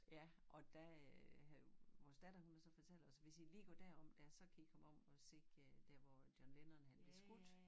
Ja og da øh havde vores datter hun havde så fortalt os hvis i lige går der om dér så kan i komme om og se øh der hvor John Lennon han blev skudt